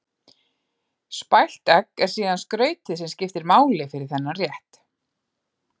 Spælt egg er síðan skrautið sem skiptir máli fyrir þennan rétt.